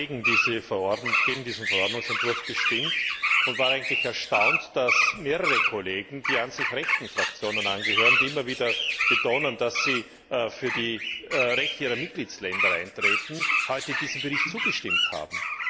Ich habe gegen diesen Verordnungsentwurf gestimmt und war eigentlich erstaunt, dass mehrere Kollegen, die an sich rechten Fraktionen angehören, die immer wieder betonen, dass sie für die Rechte ihrer Mitgliedsländer eintreten, heute diesem Bericht zugestimmt haben.